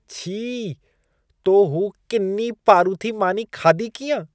छी! तो हू किनी पारूथी मानी खाधी कीअं?